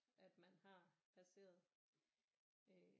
At man har passeret øh